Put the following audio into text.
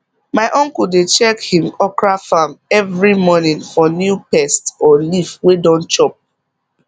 my uncle dey check him okra farm every morning for new pest or leaf wey don chop